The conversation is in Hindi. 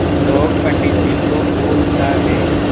लोग पंडित जी को भूल सा गये